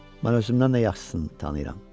Mən özümdən də yaxşısını tanıyıram.